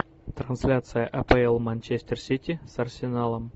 трансляция апл манчестер сити с арсеналом